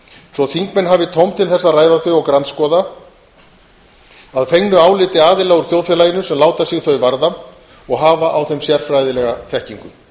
svo að þingmenn hafi tóm til þess að ræða þau og grandskoða að fengnu áliti aðila úr þjóðfélaginu sem láta sig þau varða og hafa á þeim sérfræðilega þekkingu